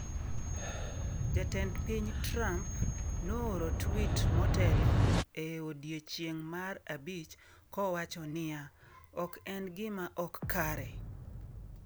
Jatend piny Trump nooro tweet motelo e odiechieng’ mar abich kowacho niya: “Ok en gima ok kare!